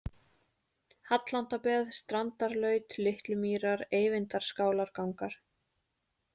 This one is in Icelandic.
Hallandabeð, Strandarlaut, Litlumýrar, Eyvindarskálargangar